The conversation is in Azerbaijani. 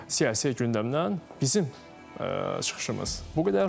Siyasi gündəmdən bizim çıxışımız bu qədər, rubrikamız bu qədər.